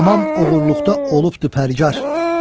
tamam oğurluqda olubdur pərgar.